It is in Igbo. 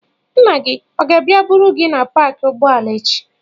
Nna gị ọ ga-abịa buru gị na paakị ụgbọala echi?